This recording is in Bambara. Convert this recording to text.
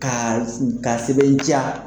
Ka ,ka sɛbɛntiya .